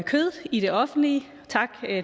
kød i det offentlige og tak